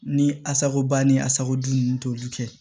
Ni asakoba ni asako dun nunnu t'olu kɛ